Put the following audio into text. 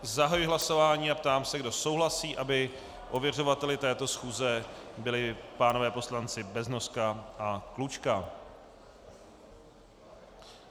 Zahajuji hlasování a ptám se, kdo souhlasí, aby ověřovateli této schůze byli pánové poslanci Beznoska a Klučka.